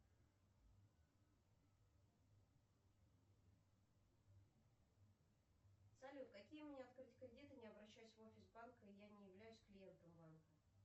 салют какие мне открыть кредиты не обращаясь в офис банка и я не являюсь клиентом банка